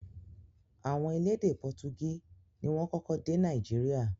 Àwọn elédè pọtugí ni wọ́n kọ́kọ́ dé Nàìjíríà